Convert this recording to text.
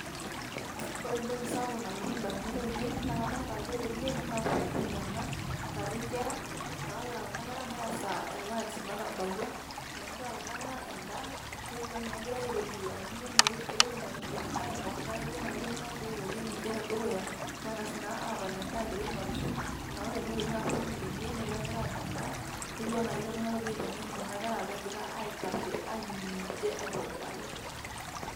Ore entoki sapuk nalotu indamunot ainei, na kadolta ajo ore ene na sukuul ena, natii enkera, na ore kuna kera na esaa e lunch natabawua, inosita kuna kera endaa, netiu enaa kegirai airorie amu kegira aing'orisho neeku ketiu enaa ketii oltung'ani logira airorie ninche tedukuya, neng'as naa apa endaa egira aing'orisho, na ore enewei na sukuul ene, negira nkera aanya endaa. Netiu enaa ketii oltung'ani logira aiteng'en kuna kera pegira aitashe ainining' ninche aitobiraki.